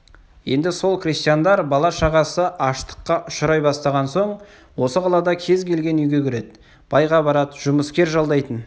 енді сол крестьяндар бала-шағасы аштыққа ұшырай бастаған соң осы қалада кез келген үйге кіреді байға барады жұмыскер жалдайтын